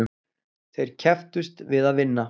Þeir kepptust við að vinna.